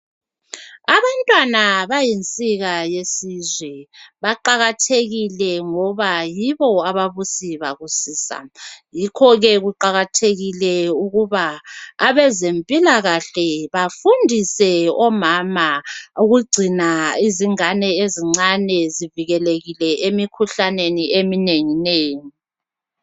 Abantwana bayinsika yesizwe baqakathekile ngoba yibo abakusiba kusisa yikho-ke kuqakathekile ukuba abezempilakahle bafundise omama ukugcina izingane ezincane zivikelekile emikhuhlaneni eminenginengi.